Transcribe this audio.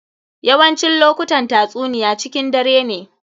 Yawancin lokutan tatsuniya cikin dare ne.